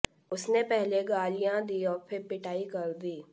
उसने पहले गालियां दीं और फिर पिटाई कर दी